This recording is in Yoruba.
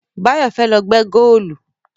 Báyọ̀ fẹ́ lọ gbẹ́ góòlù